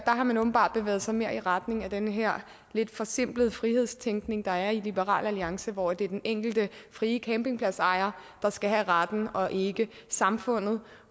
har man åbenbart bevæget sig mere i retning af den her lidt forsimplede frihedstænkning der er i liberal alliance hvor det er den enkelte frie campingpladsejer der skal have retten og ikke samfundet